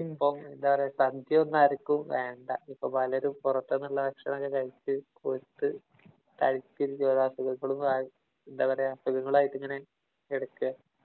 ഇപ്പം എന്താ പറയുകഅരയ്ക്കും. വേണ്ടാ ഇപ്പം പലരും പൊറത്ത് നിന്നുള്ള ഭക്ഷണം ഒക്കെ കഴിച്ചു കൊഴുത്ത് തടിച്ചു കുറെ അസുഖങ്ങളും ആയി എന്താ പറയുക അസുഖങ്ങളായിട്ട് ഇങ്ങ നെ കിടക്കുകാ.